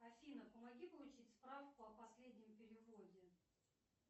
афина помоги получить справку о последнем переводе